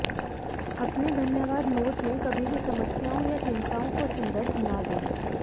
अपने धन्यवाद नोट में कभी भी समस्याओं या चिंताओं का संदर्भ न दें